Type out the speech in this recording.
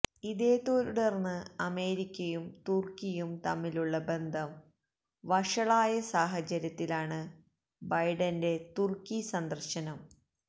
ഇതേത്തുടര്ന്ന് അമേരിക്കയും തുര്ക്കിയും തമ്മിലുള്ള ബന്ധം വഷളായ സാഹചര്യത്തിലാണ് ബൈഡന്റെ തുര്ക്കി സന്ദര്ശനം